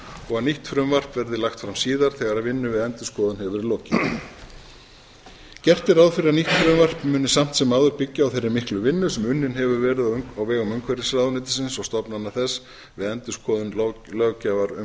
og að nýtt frumvarp verði lagt fram síðar þegar vinnu við endurskoðun hefur verið lokið gert er ráð fyrir að nýtt frumvarp muni samt sem áður byggja á þeirri miklu vinnu sem unnin hefur verið á vegum umhverfisráðuneytisins og stofnana þess við endurskoðun löggjafar um